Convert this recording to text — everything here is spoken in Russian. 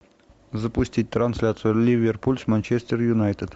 запустить трансляцию ливерпуль с манчестер юнайтед